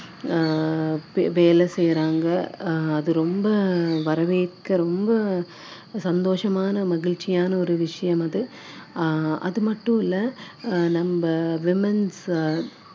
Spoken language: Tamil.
அஹ் வேலை செய்யறாங்க அஹ் அது ரொம்ப வரவேற்க ரொம்ப சந்தோஷமான மகிழ்ச்சியான ஒரு விஷயம் அது அஹ் அது மட்டும் இல்ல நம்ம womens